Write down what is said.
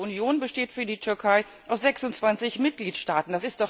Die Europäische Union besteht für die Türkei aus 26 Mitgliedstaaten.